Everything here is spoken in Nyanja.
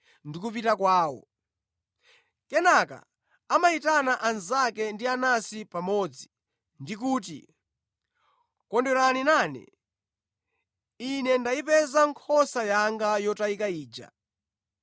ndi kupita kwawo. Kenaka amayitana anzake ndi anansi pamodzi, ndi kuti, ‘Kondwerani nane; ine ndayipeza nkhosa yanga yotayika ija.’